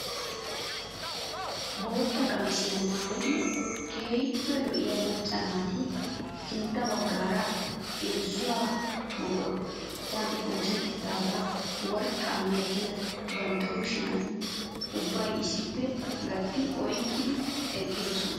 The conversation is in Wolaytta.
Bootta qamisiyaa maayida keehippe lo'iyaa macca naati sintta baggaara irzzo mqottan oosettida worqqa milatiyaa bantta kushiyaan ubbay issipe gattidi oyqqi eqqidosona.